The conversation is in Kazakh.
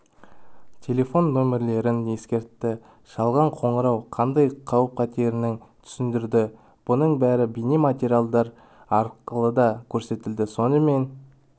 телефон нөмірлерін ескертті жалған қоңырау қандай қауіп көтеретінің түсіндірді бұның бәрі бейнематериалдар арқылыда көрсетілді сонымен